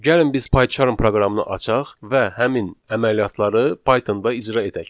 Gəlin biz Pycharm proqramını açaq və həmin əməliyyatları Pythonda icra edək.